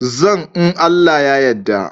Zan in Allah ya yadda.